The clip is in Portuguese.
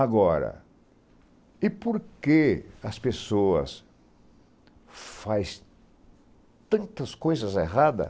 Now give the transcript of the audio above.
Agora, e por que as pessoas faz tantas coisas erradas